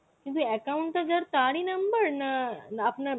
কিন্তু account টা যার তারই number না আপনার